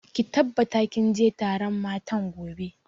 Ki tabbata kin je taron matan gobe!